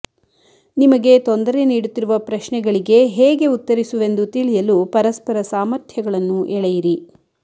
ನಿಮಗೆ ತೊಂದರೆ ನೀಡುತ್ತಿರುವ ಪ್ರಶ್ನೆಗಳಿಗೆ ಹೇಗೆ ಉತ್ತರಿಸುವೆಂದು ತಿಳಿಯಲು ಪರಸ್ಪರ ಸಾಮರ್ಥ್ಯಗಳನ್ನು ಎಳೆಯಿರಿ